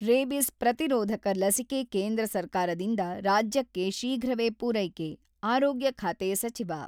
rabies ಪ್ರತಿರೋಧಕ ಲಸಿಕೆ ಕೇಂದ್ರ ಸರ್ಕಾರದಿಂದ ರಾಜ್ಯಕ್ಕೆ ಶೀಘ್ರವೇ ಪೂರೈಕೆ-ಆರೋಗ್ಯ ಖಾತೆ ಸಚಿವ